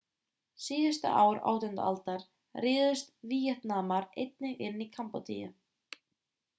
síðustu ár 18. aldar réðust víetnamar einnig inn í kambódíu